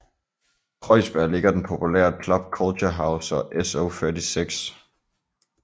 I Kreuzberg ligger den populære Club Culture House og SO36